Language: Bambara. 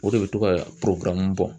O de be to ka poropara nuw bɔn